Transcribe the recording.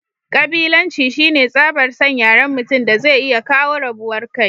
kabilanci shine tsabar San yaren mutum daze iya kawo rabuwar kai